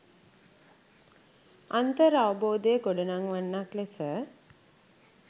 අන්තර් අවබෝධය ගොඩනංවන්නක් ලෙස